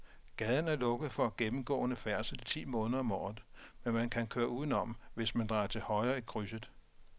Gaden er lukket for gennemgående færdsel ti måneder om året, men man kan køre udenom, hvis man drejer til højre i krydset.